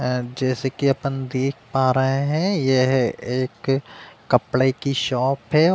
जैसे कि अपन देख पा रहे हैं यह एक कपड़े की शॉप है।